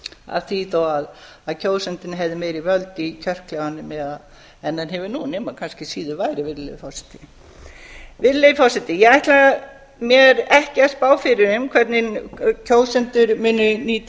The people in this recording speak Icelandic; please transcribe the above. af því þó að kjósandinn hefði meiri völd í kjörklefanum en hann hefur nú nema kannski síður væri virðulegur forseti virðulegi forseti ég ætla mér ekki að spá fyrir um hvernig kjósendur muni nýta